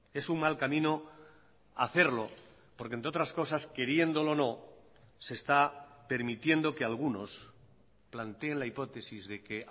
es un mal camino hacerlo porque entre otras cosas queriéndolo o no se está permitiendo que algunos planteen la hipótesis de que